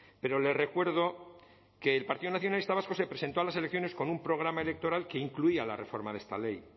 pero le recuerdo que el partido nacionalista vasco se presentó a las elecciones con un programa electoral que incluía la reforma de esta ley